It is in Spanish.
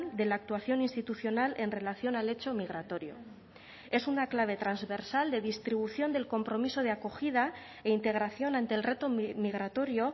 de la actuación institucional en relación al hecho migratorio es una clave transversal de distribución del compromiso de acogida e integración ante el reto migratorio